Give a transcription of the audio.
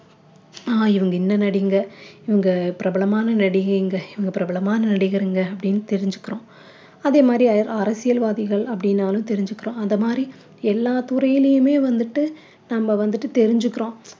ஆஹ் இவங்க இந்த நடிகைகங்க இவங்க பிரபலமான நடிகைகங்க இவங்க பிரபலமான நடிகருங்க அப்படின்னு தெரிஞ்சிக்கிறோம் அதே மாதிரி அ~ அரசியல்வாதிகள் அப்படின்னாலும் தெரிஞ்சுக்கிறோம் அத மாதிரி எல்லா துறையிலுமே வந்துட்டு நம்ம வந்துட்டு தெரிஞ்சுக்கிறோம்